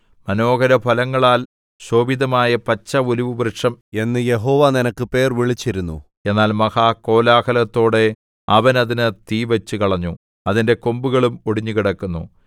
മനോഹര ഫലങ്ങളാൽ ശോഭിതമായ പച്ച ഒലിവുവൃക്ഷം എന്ന് യഹോവ നിനക്ക് പേർ വിളിച്ചിരുന്നു എന്നാൽ മഹാകോലാഹലത്തോടെ അവൻ അതിന് തീ വച്ചുകളഞ്ഞു അതിന്റെ കൊമ്പുകളും ഒടിഞ്ഞു കിടക്കുന്നു